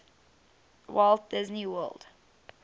walt disney world